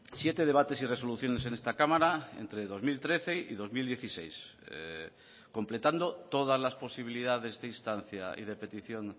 siete debates y resoluciones en esta cámara entre dos mil trece y dos mil dieciséis completando todas las posibilidades de instancia y de petición